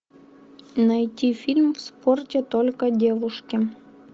найти фильм в спорте только девушки